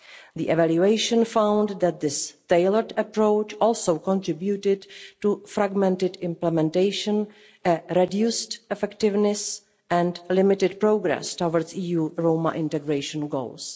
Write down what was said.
The evaluation found that this tailored approach also contributed to fragmented implementation, reduced effectiveness and limited progress towards EU Roma integration goals.